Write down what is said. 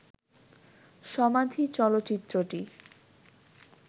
'সমাধি' চলচ্চিত্রটি